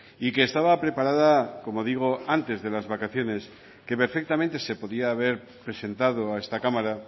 y que estaba preparada como digo antes de las vacaciones que perfectamente se podía haber presentado a esta cámara